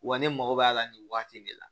Wa ne mago b'a la nin waati in de la